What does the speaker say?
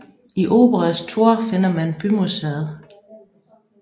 I Oberes Tor finder man bymuseet